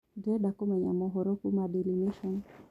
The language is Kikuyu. ndĩrenda kumenya mohoro kũũma daily nation